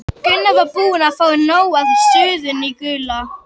Gunni var búinn að fá nóg af suðinu í Gulla.